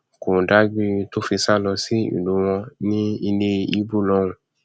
kò dágbére tó fi sá lọ sí ìlú wọn ní ilé ìbò lọhùnún